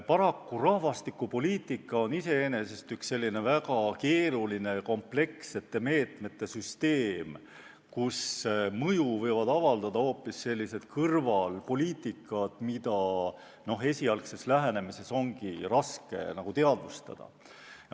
Paraku rahvastikupoliitika on iseenesest üks selline väga keeruline komplekssete meetmete süsteem, kus mõju võivad avaldada hoopis mingid kõrvalpoliitikad, mida esialgses lähenemises on raske teadvustada.